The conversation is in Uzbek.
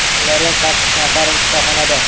Ulardan sakkiz nafari shifoxonada.